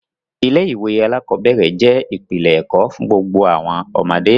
Ilé-ìwé aláàkọ́bẹ̀rẹ̀ jẹ́ ìpìlẹ̀ ẹ̀kọ́ fún gbogbo àwọn ọmọdé.